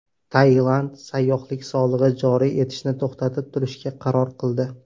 Tailand sayyohlik solig‘i joriy etishni to‘xtatib turishga qaror qildi.